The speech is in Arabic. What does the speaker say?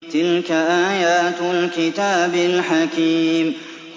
تِلْكَ آيَاتُ الْكِتَابِ الْحَكِيمِ